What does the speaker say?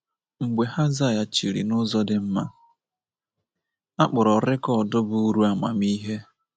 Mgbe ha zaghachiri n’ụzọ dị mma, a kpọrọ rekọd bụ́ Uru Amamihe.